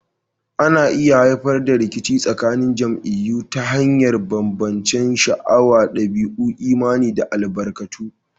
Ana iya haifar da rikici tsakanin jam'iyyu ta hanyar bambancen sha'awa, dabi'u, imani, ko albarkatu.